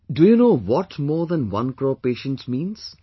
Do you know what more than one crore patients means